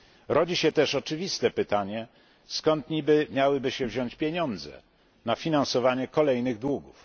Rodzi się też oczywiste pytanie, skąd niby miałyby się wziąć pieniądze na finansowanie kolejnych długów.